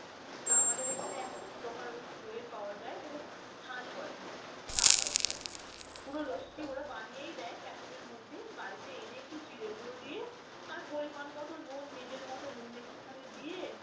আমাদের এখানে এক প্রকার রকম দইয়ের পাওয়া যায় তাকে ছাঁচ বলে, ছাঁচ পুরো ওরা বানিয়ে দেয় packet এর মধ্যে, বাড়িতে এনে একটু জিরা গুঁড়ো দিয়ে আর পরিমাণ মতো নুন নিজের মত নুন একটুখানি দিয়ে